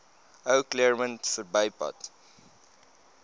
ou claremont verbypad